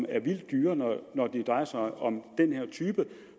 er vildt dyre når det drejer sig om den her type